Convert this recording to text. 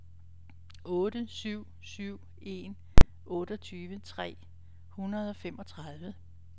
otte syv syv en otteogtyve tre hundrede og femogtredive